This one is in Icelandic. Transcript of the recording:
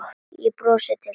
Ég brosi til þín.